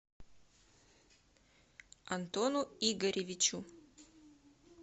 антону игоревичу